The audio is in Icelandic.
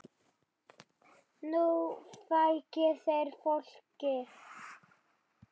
Nú fækki þeir fólki.